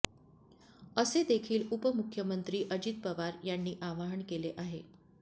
असे देखील उपमुख्यमंत्री अजित पवार यांनी आवाहन केले आहे